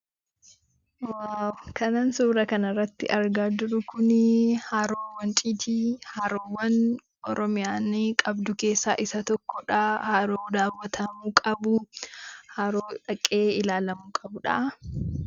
Kanan suura kana irratti argaa jiru Kunii, haroo wanciiti. Haroowwan Oromiyaan qabdu keessaa isa tokkodha, haroo daawwatamuu qabuu, haroo dhaqee ilaaluu qabudha.